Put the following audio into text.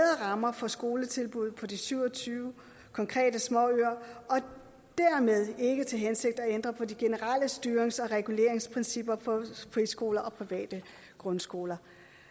rammer for skoletilbuddet på de syv og tyve konkrete småøer og har dermed ikke til hensigt at ændre på de generelle styrings og reguleringsprincipper for friskoler og private grundskoler